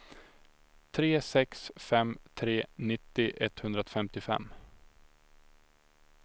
tre sex fem tre nittio etthundrafemtiofem